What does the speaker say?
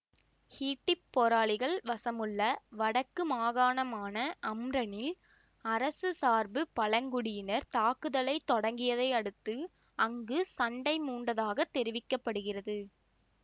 ஹூட்டிப் போராளிகள் வசமுள்ள வடக்கு மாகாணமான அம்ரனில் அரசு சார்பு பழங்குடியினர் தாக்குதலை தொடங்கியதை அடுத்து அங்கு சண்டை மூண்டதாகத் தெரிவிக்க படுகிறது